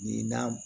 Nin na